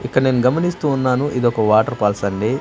ఇక్కడ నేను గమనిస్తూ ఉన్నాను ఇది ఒక వాటర్ ఫాల్స్ అండి--